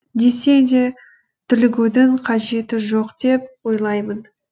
десе де дүрлігудің қажеті жоқ деп ойлаймын